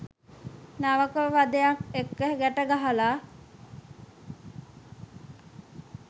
නවක වධයක් එක්ක. ගැට ගහලා.